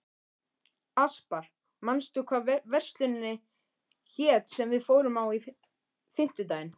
Aspar, manstu hvað verslunin hét sem við fórum í á fimmtudaginn?